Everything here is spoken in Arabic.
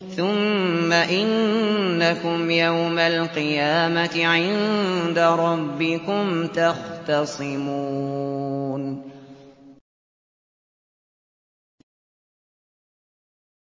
ثُمَّ إِنَّكُمْ يَوْمَ الْقِيَامَةِ عِندَ رَبِّكُمْ تَخْتَصِمُونَ